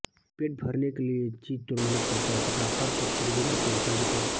पेट भरने के लिए जी तोड़ मेहनत करता है तथा हर सुखसुविधा से वंचित है